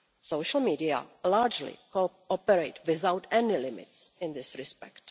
Social media largely cooperate without any limits in this respect.